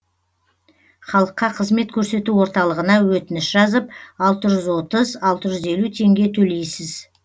халыққа қызмет көрсету орталығына өтініш жазып алты жүз отыз алты жүз елу теңге төлейсіз